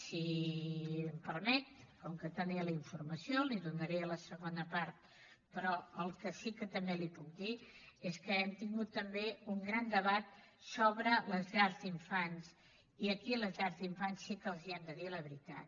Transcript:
si m’ho permet com que en tenia la informació la hi donaré a la segona part però el que sí que també li puc dir és que hem tingut també un gran debat sobre les llars d’infants i aquí a les llars d’infants sí que els hem de dir la veritat